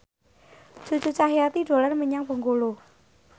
Cucu Cahyati dolan menyang Bengkulu